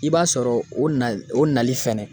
I b'a sɔrɔ o na o nali fɛnɛ